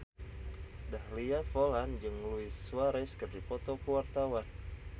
Dahlia Poland jeung Luis Suarez keur dipoto ku wartawan